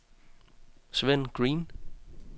Svend Green